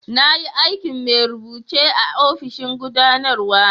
Na yi aikin mai rubuce a'ofishin gudanarwa.